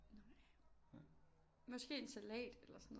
Måske en salat eller sådan noget